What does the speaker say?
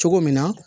Cogo min na